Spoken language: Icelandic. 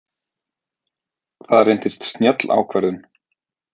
Það reyndist snjöll ákvörðun.